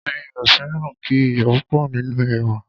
mí ò fẹràn kí iyò pò nínú èwà.